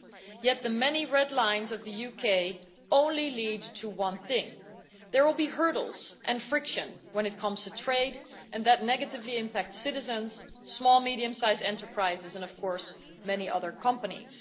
Yet the UK's many red lines only lead to one thing there will be hurdles and friction when it comes to trade, and that negatively impacts citizens, small and medium sized enterprises and, of course, many other companies.